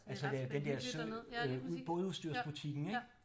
Altså det er den dér sø øh bådudstyrsbutikken ik